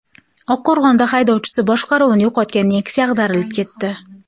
Oqqo‘rg‘onda haydovchisi boshqaruvni yo‘qotgan Nexia ag‘darilib ketdi.